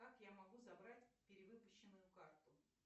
как я могу забрать перевыпущенную карту